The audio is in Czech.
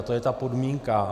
A to je ta podmínka.